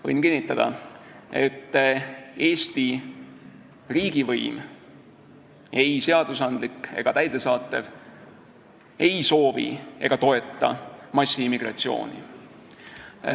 Võin kinnitada, et Eesti riigivõim, ei seadusandlik ega täidesaatev, ei soovi ega toeta massiimmigratsiooni.